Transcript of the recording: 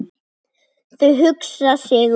Þau hugsa sig um.